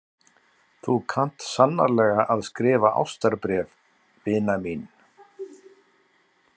Þú kant sannarlega að skrifa ástarbréf, vina mín.